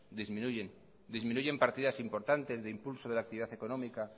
disminuyen disminuyen partidas importantes de impulso de la actividad económica